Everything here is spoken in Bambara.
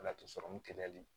Laturu sɔrɔmu kɛlɛli